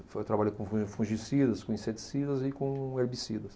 Eu trabalhei com fungicidas, com inseticidas e com herbicidas.